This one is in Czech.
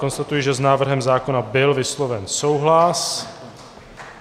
Konstatuji, že s návrhem zákona byl vysloven souhlas.